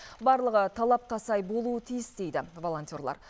барлығы талапқа сай болуы тиіс дейді волонтерлар